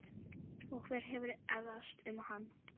Og hver hefur efast um hann?